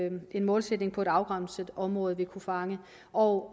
en målsætning på et afgrænset område vil kunne fange og